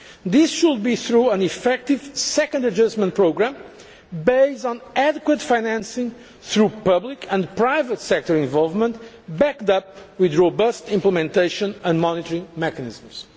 This should be through an effective second adjustment programme, based on adequate financing through public and private sector involvement, backed up with robust implementation and monitoring mechanisms.